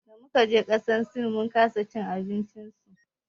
Damu kaje ƙasar sin mun kasa cin abinci su.